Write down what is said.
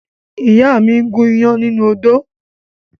Ìyá mi gún iyán nínú odó.